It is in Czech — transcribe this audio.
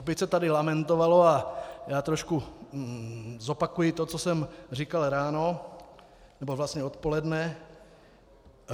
Opět se tady lamentovalo, a já trošku zopakuji to, co jsem říkal ráno nebo vlastně odpoledne.